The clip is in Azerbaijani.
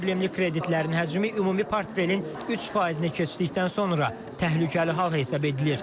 Problemli kreditlərin həcmi ümumi portfelin 3 faizini keçdikdən sonra təhlükəli hal hesab edilir.